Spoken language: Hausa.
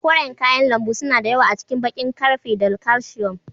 Koren kayan lambu suna da yawa a cikin baƙin ƙarfe da calcium.